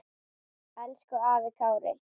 Elsku afi Kári.